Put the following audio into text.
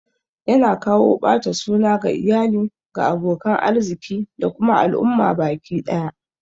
Yana kawo ɓata suna ga iyali, ga abokan arziki da kuma al'umma baki ɗaya